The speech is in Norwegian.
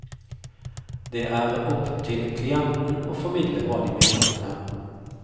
Det er opp til klienten å formidle hva de mener om dem.